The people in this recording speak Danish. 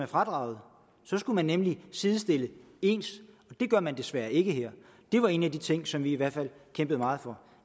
fradraget så skulle man nemlig sidestille ens og det gør man desværre ikke her det var en af de ting som vi i hvert fald kæmpede meget for